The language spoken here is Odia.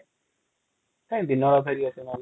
କଇଁ ଦିନ ବେଳ ଫହଏରିବା ନହେଲେ |